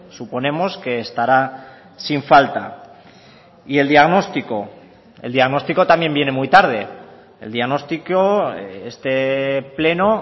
suponemos que estará sin falta y el diagnóstico el diagnóstico también viene muy tarde el diagnóstico este pleno